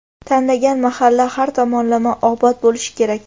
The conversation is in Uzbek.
t́anlangan mahalla har tomonlama obod bo‘lishi kerak.